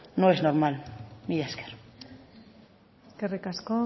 no es normal mila esker eskerrik asko